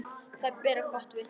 Þau bera þér gott vitni.